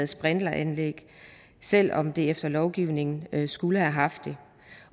sprinkleranlæg selv om de efter lovgivningen skulle have haft det